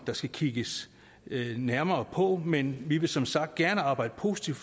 der skal kigges nærmere på men vi vil som sagt gerne arbejde positivt